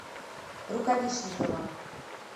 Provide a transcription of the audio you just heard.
рукавишникова